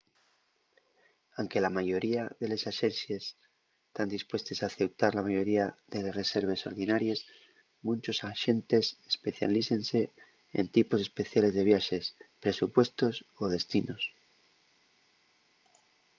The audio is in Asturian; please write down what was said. anque la mayoría de les axencies tán dispuestes a aceutar la mayoría de les reserves ordinaries munchos axentes especialícense en tipos especiales de viaxes presupuestos o destinos